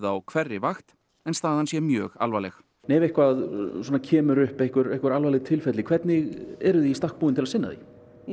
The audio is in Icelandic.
á hverri vakt en staðan sé mjög alvarleg ef eitthvað kemur upp einhver einhver alvarleg tilfelli hvernig eruð þið í stakk búin til að sinna því